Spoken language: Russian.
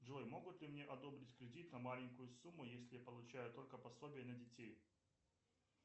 джой могут ли мне одобрить кредит на маленькую сумму если я получаю только пособие на детей